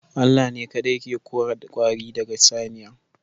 Allah ne kaɗai Chase ke tashi daga saniya